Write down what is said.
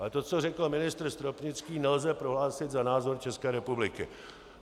Ale to, co řekl ministr Stropnický, nelze prohlásit za názor České republiky.